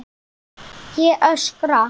Ég öskra.